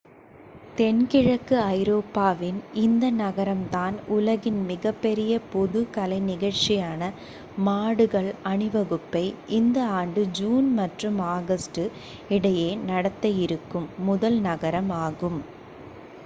தென்கிழக்கு ஐரோப்பாவின் இந்த நகரம் தான் உலகின் மிகப்பெரிய பொது கலை நிகழ்சியான மாடுகள் அணிவகுப்பை இந்த ஆண்டு ஜூன் மற்றும் ஆகஸ்ட் இடையே நடத்த இருக்கும் முதல் நகரம் ஆகும்